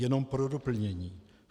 Jenom pro doplnění.